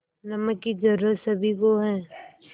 नमक की ज़रूरत सभी को है